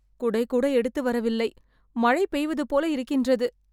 குடை கூட எடுத்து வரவில்லை மழை பெய்வது போல இருக்கின்றது